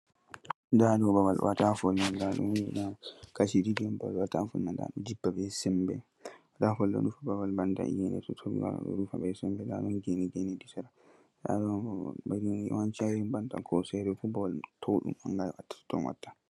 Ndaa babal on ndiyam ɗo jurta, kaci ɗiɗi on, hedi geene ɗo to iyeende toɓi ndiyam ɗo jurta be semmbe. Babal man towɗum ba hoosere, ton ndiyam jurtotoo. .